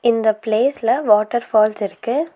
இந்த பிளேஸ்ல water falls இருக்கு.